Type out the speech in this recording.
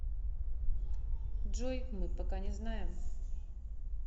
джой мы пока не знаем